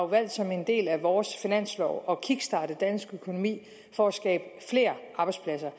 valgt som en del af vores finanslov at kickstarte dansk økonomi for at skabe flere arbejdspladser